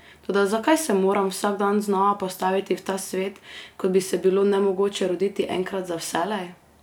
Toda zakaj se moram vsak dan znova postaviti v ta svet, kot bi se bilo nemogoče roditi enkrat za vselej?